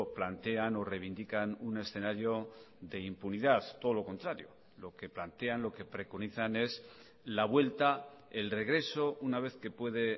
plantean o reivindican un escenario de impunidad todo lo contrario lo que plantean lo que preconizan es la vuelta el regreso una vez que puede